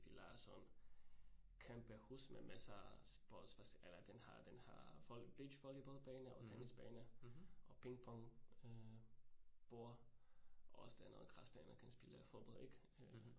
Vi lejede sådan kæmpe hus med masser eller den har den har beachvolleyballbane og tennisbane og ping pong øh bord, og også der er noget græsbane, man kan spille fodbold ik øh